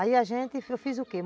Aí a gente, eu fiz o quê?